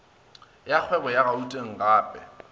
ya kgwebo ya gauteng gep